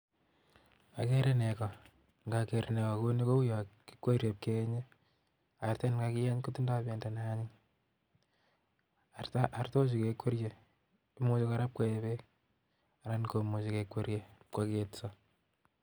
ageere neko, ndoker nekoo kouni ko u artet nekakiyeny kotindo bendo, artook chu ko kuryoonok, ak moche kekwerso koyetso